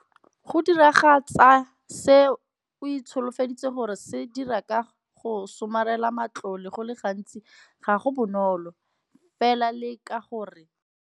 Go diragatsa se o itsholofeditseng go se dira ka go somarela matlole go le gantsi ga go bonolo, fela leka gore.